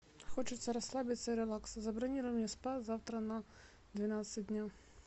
хочется расслабиться и релакса забронируй мне спа завтра на двенадцать дня